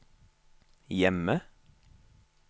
hjemme